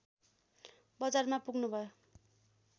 बजारमा पुग्नुभयो